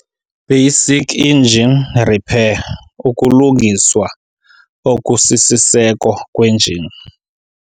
Basic Engine Repair - UkuLungiswa okusiSiseko kweNjini